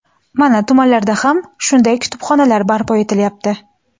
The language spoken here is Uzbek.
Mana tumanlarda ham shunday kutubxonalar barpo etilyapti.